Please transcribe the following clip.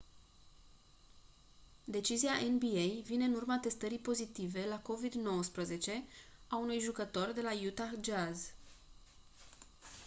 decizia nba vine în urma testării pozitive la covid-19 a unui jucător de la utah jazz